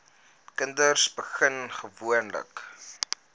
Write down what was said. kinders begin gewoonlik